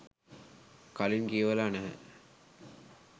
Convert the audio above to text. කලින් කියවලා නැහැ.